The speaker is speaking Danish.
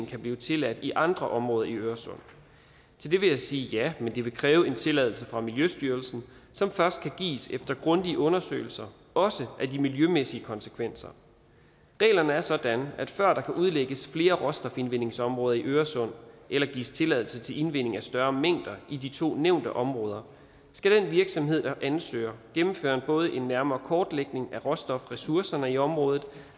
kan blive tilladt i andre områder i øresund til det vil jeg sige ja men det vil kræve en tilladelse fra miljøstyrelsen som først kan gives efter grundige undersøgelser også af de miljømæssige konsekvenser reglerne er sådan at før der kan udlægges flere råstofindvindingsområder i øresund eller gives tilladelse til indvinding af større mængder i de to nævnte områder skal den virksomhed der ansøger gennemføre både en nærmere kortlægning af råstofressourcerne i området